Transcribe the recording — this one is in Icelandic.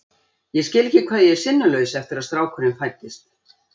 Ég skil ekki hvað ég er sinnulaus eftir að strákurinn fæddist.